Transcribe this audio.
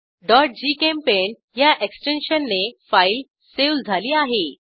gchempaint ह्या एक्सटेन्शनने file save झाली आहे